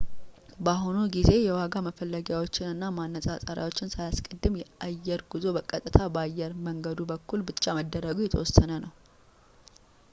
በአሁኑ ጊዜ የዋጋ መፈለጊያዎችን እና ማነፃፀሪያዎችን ሳያስቀድም የአየር ጉዞ በቀጥታ በአየር መንገዱ በኩል ብቻ መደረጉ የተወሰነ ነው